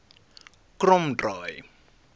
kromdraai